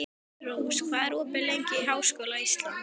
Rós, hvað er opið lengi í Háskóla Íslands?